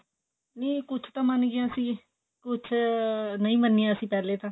ਨਹੀਂ ਕੁੱਛ ਤਾਂ ਮੰਨ ਗਿਆ ਸੀ ਕੁੱਛ ਨਹੀਂ ਮੰਨਿਆ ਸੀ ਪਹਿਲੇ ਤਾਂ